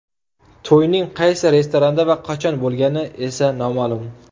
To‘yning qaysi restoranda va qachon bo‘lgani esa noma’lum.